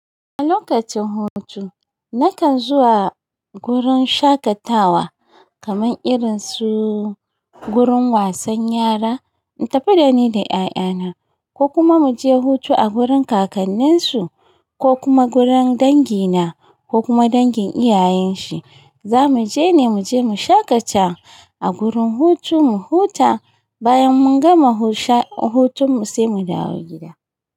A lokacin hutu nakan zuwa gurin shakatawa kaman irinsu gurin wasan yara in tafi da ni da 'ya'yana, ko kuma mu je hutu a gurin kakanninsu ko kuma gurin dangina ko kuma dangin iyayen shi. Za mu je ne mu je mu shaƙata a gurin hutu mu huta bayan mun gama husa-- hutun mu sai mu dawo gida.